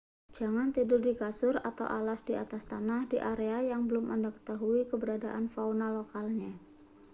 jangan tidur di kasur atau alas di atas tanah di area yang belum anda ketahui keberadaan fauna lokalnya